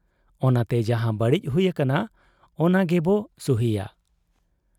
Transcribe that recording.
ᱚᱱᱟᱛᱮ ᱡᱟᱦᱟᱸ ᱵᱟᱹᱲᱤᱡ ᱦᱩᱭ ᱟᱠᱟᱱᱟ, ᱚᱱᱟᱜᱮᱵᱚ ᱥᱩᱦᱤᱭᱟ ᱾